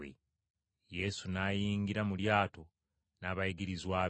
Yesu n’ayingira mu lyato n’abayigirizwa be.